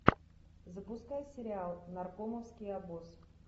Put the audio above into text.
запускай сериал наркомовский обоз